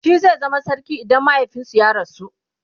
shi zai zama sarki idan mahaifinsu ya rasu